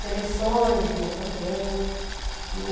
Seleções lia também. E